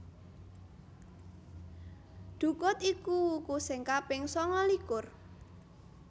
Dhukut iku wuku sing kaping sangalikur